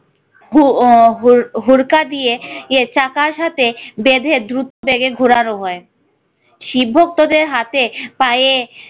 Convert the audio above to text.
ভু হুর~ হুরকা দিয়ে চাকার সাথে বেঁধে দ্রুত বেগে ঘুরানো হয়। শিব ভক্তদের হাতে পায়ে